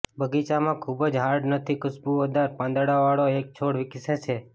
બગીચામાં ખૂબ જ હાર્ડ નથી ખુશબોદાર પાંદડાંવાળો એક છોડ વિકસે છે